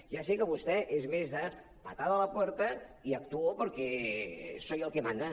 ja sé que vostè és més de patada a la puerta y actuo porque soy el que manda